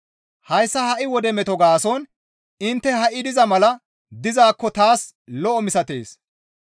Hayssa ha7i wode meto gaason intte ha7i diza mala dizaakko taas lo7o misatees.